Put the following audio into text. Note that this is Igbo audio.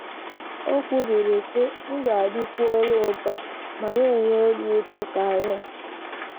O kwubiri, sị: “ Ndụ adịkwuola ụtọ ma na - enye obi ụtọ karị.